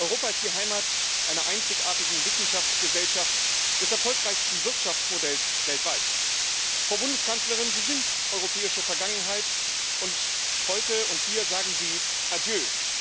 Europa ist die Heimat einer einzigartigen Wissenschaftsgesellschaft, des erfolgreichsten Wirtschaftsmodells weltweit. Frau Bundeskanzlerin, Sie sind europäische Vergangenheit, und heute und hier sagen Sie Adieu.